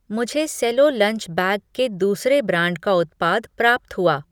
मुझे Cello lunch bag के दूसरे ब्रांड का उत्पाद प्राप्त हुआ।